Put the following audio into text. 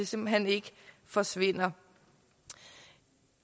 simpelt hen ikke forsvinder